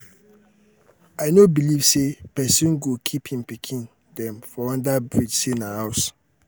i no belive say pesin go keep im pikin dem for under bridge sey na house.